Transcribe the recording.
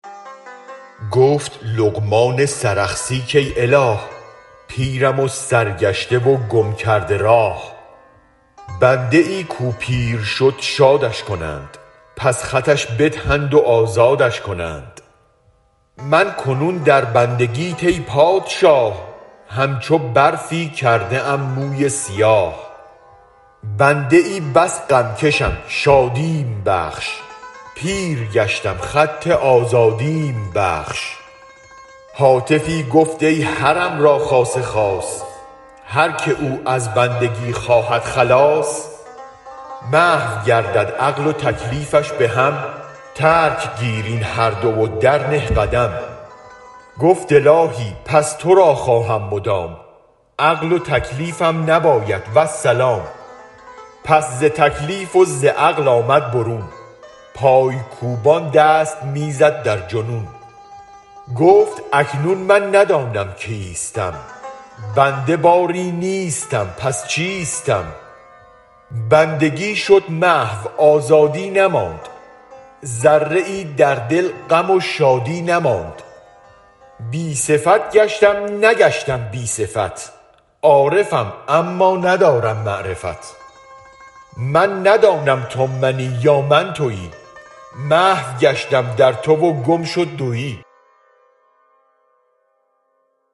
گفت لقمان سرخسی کای اله پیرم و سرگشته و گم کرده راه بنده ای کو پیر شد شادش کنند پس خطش بدهند و آزادش کنند من کنون در بندگیت ای پادشاه همچو برفی کرده ام موی سیاه بنده بس غم کشم شادیم بخش پیرگشتم خط آزادیم بخش هاتفی گفت ای حرم را خاص خاص هر که او از بندگی خواهد خلاص محو گردد عقل و تکلیفش به هم ترک گیر این هر دو و درنه قدم گفت الاهی پس ترا خواهم مدام عقل و تکلیفم نباید والسلام پس ز تکلیف وز عقل آمد برون پای کوبان دست می زد در جنون گفت اکنون من ندانم کیستم بنده باری نیستم پس چیستم بندگی شد محو آزادی نماند ذره ای در دل غم و شادی نماند بی صفت گشتم نگشتم بی صفت عارفم اما ندارم معرفت من ندانم تو منی یا من توی محو گشتم در تو و گم شد دوی